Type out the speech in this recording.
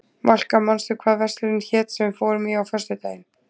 Valka, manstu hvað verslunin hét sem við fórum í á föstudaginn?